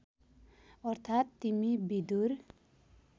अर्थात् तिमी विदुर